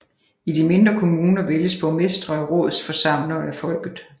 I de mindre kommuner vælges borgmestre og rådsforsamlere af folket